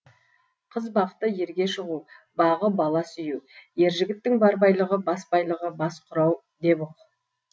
қыз бақыты ерге шығу бағы бала сүю ер жігіттің бар байлығы бас байлығы бас құрау деп ұқ